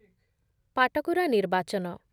ପାଟକୁରା ନିର୍ବାଚନ